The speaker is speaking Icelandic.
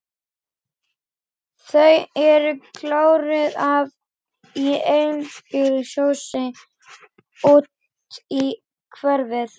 Þau eru króuð af í einbýlishúsi úti í úthverfi.